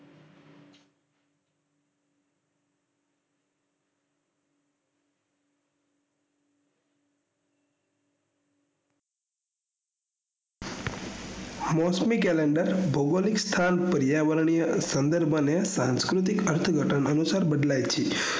મોસમી calender ભગોલિક સ્થાન પર્યાવરણ સંદર્ભ અને સાંસ્કુતિક અર્થ ઘટન અનુસાર બદલાય છે